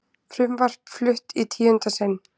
Frumvarp flutt í tíunda sinn